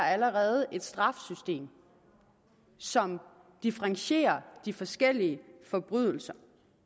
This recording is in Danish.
allerede et straffesystem som differentierer de forskellige forbrydelser